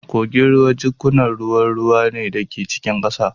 Kogin ruwa jikkunan ruwan ruwa ne da ke cikin ƙasa